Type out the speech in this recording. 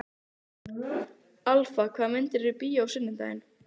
Alfa, hvaða myndir eru í bíó á sunnudaginn?